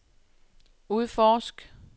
udforsk